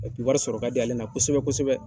wari sɔrɔ ka di ale la kosɛbɛ kosɛbɛ.